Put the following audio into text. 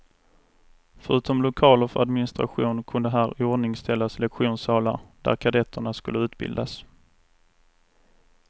Förutom lokaler för administration kunde här iordningställas lektionssalar, där kadetterna skulle utbildas.